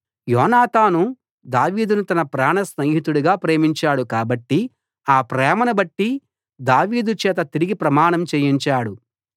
యోనాతాను దావీదును తన ప్రాణస్నేహితుడిగా ప్రేమించాడు కాబట్టి ఆ ప్రేమను బట్టి దావీదు చేత తిరిగి ప్రమాణం చేయించాడు